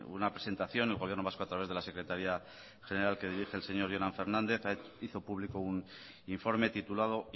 una presentación el gobierno vasco a través de la secretaría general que dirige el señor jonan fernández hizo público un informe titulado